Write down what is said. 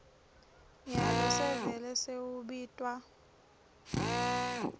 nyalo sevele sewubitwa